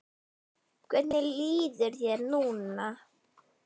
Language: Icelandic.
Hvernig líður þér núna?